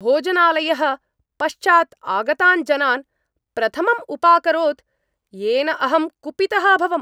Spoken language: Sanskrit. भोजनालयः पश्चात् आगतान् जनान् प्रथमम् उपाकरोत्, येन अहं कुपितः अभवम्।